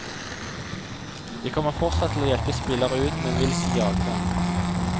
Jeg kommer fortsatt til å hjelpe spillere ut, men vil ikke jage dem.